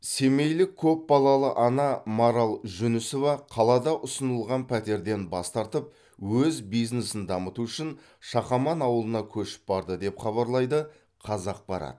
семейлік көпбалалы ана марал жүнісова қалада ұсынылған пәтерден бас тартып өз бизнесін дамыту үшін шақаман ауылына көшіп барды деп хабарлайды қазақпарат